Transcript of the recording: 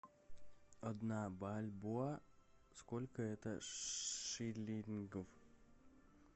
одна бальбоа сколько это шиллингов